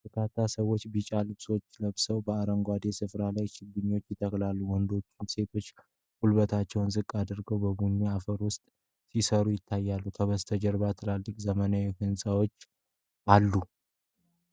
በርካታ ሰዎች ቢጫ ልብሶችን ለብሰው በአረንጓዴ ስፍራ ላይ ችግኞችን ይተክላሉ። ወንዶችና ሴቶች ጉልበታቸውን ዝቅ አድርገው በቡኒ አፈር ውስጥ ሲሰሩ ይታያሉ። ከበስተጀርባም ትላልቅ ዘመናዊ ሕንጻዎች አሉ።